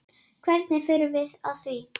Hvernig förum við að því?